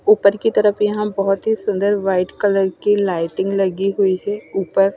उपर की तरफ यहा बोहोत ही सुन्दर वाइट कलर की लाइटिंग लगी हुई है उपर --